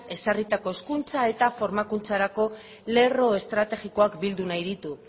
ezarritako hezkuntza eta formakuntzarako lerro estrategikoak bildu nahi ditu